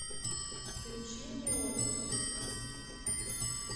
включи мне офис